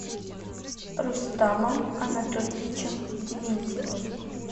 рустамом анатольевичем дементьевым